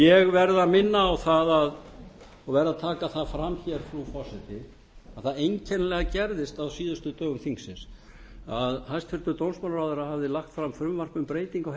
ég verð að minna á það og verð að taka það fram hér frú forseti að það einkennilega gerðist á síðustu dögum þingsins að hæstvirtur dómsmálaráðherra hafði lagt fram frumvarp um breytingu